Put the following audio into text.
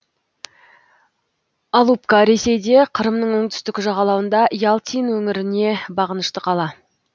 алупка ресейде қырымның оңтүстік жағалауында ялтин өңіріне бағынышты қала